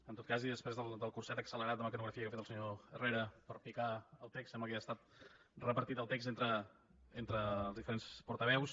en tot cas i després del curset accelerat de mecanografia que ha fet el senyor herrera per picar el text sembla que ja ha estat repartit el text entre els diferents portaveus